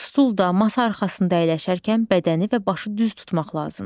Stulda, masa arxasında əyləşərkən bədəni və başı düz tutmaq lazımdır.